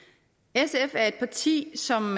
sf er et parti som